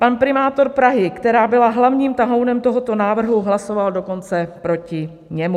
Pan primátor Prahy, která byla hlavním tahounem tohoto návrhu, hlasoval dokonce proti němu.